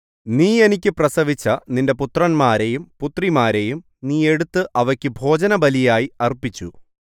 നീ എനിക്ക് പ്രസവിച്ച നിന്റെ പുത്രന്മാരെയും പുത്രിമാരെയും നീ എടുത്ത് അവയ്ക്കു ഭോജനബലിയായി അർപ്പിച്ചു